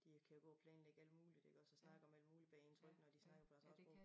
De kan gå og planlægge alt muligt iggås og snakke om alt muligt bag ens ryg når de snakker deres eget sprog